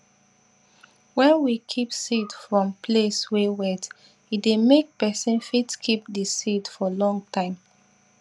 wen we keep seed from place wey wet e dey make pesin fit keep di seed for long time